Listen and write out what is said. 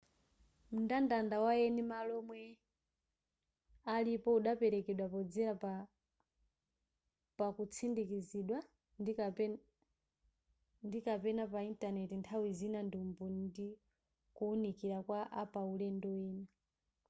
mndandanda wa eni malo omwe alipo udaperekedwa podzera pakutsindikizidwa ndi/ kapena pa intaneti nthawi zina ndi umboni ndi kuwunikira kwa apaulendo ena